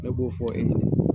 Ne b'o fɔ e ɲɛnɛ.